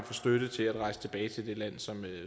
få støtte til at rejse tilbage til det land som